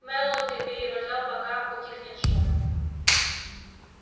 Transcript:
мэллоу терпеливо ждал пока утихнет шум